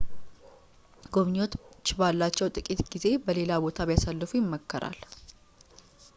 ጎብኚዎች ባላቸው ጥቂት ጊዜ በሌላ ቦታ ቢያሳልፉ ይመከራል